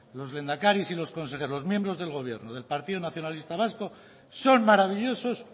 los lehendakaris y los consejeros los miembros del gobierno del partido nacionalista vasco son maravillosos